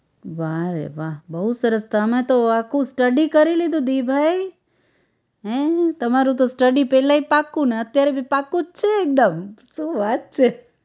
વાહ રે વાહ બહુ સરસ તમે તો આખું study કરી લીધું દિભાઈ હે! તમારું તો study પેલાય પાકુને અત્યારે ભી પાકું જ છે એકદમ શું વાત છે